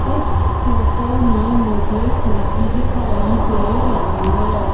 Photo में मुझे खिड़की दिखाई दे रही है।